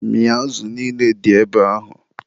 Mịa azụ niile dị ebe ahụ!